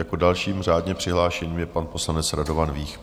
Jako další řádně přihlášený je pan poslanec Radovan Vích.